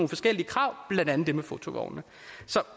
forskellige krav blandt andet det med fotovogne